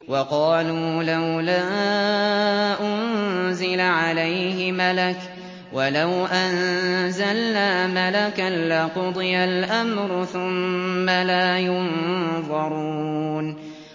وَقَالُوا لَوْلَا أُنزِلَ عَلَيْهِ مَلَكٌ ۖ وَلَوْ أَنزَلْنَا مَلَكًا لَّقُضِيَ الْأَمْرُ ثُمَّ لَا يُنظَرُونَ